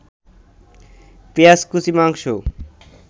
পেঁয়াজকুচি, মাংস